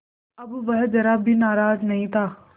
अब वह ज़रा भी नाराज़ नहीं था